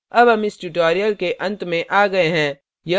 अब हम इस tutorial के अंत में आ गये हैं